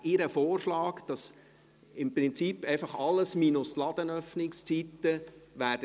Ihr Vorschlag ist, dass der Eventualantrag im Prinzip einfach alles minus die Ladenöffnungszeiten wäre.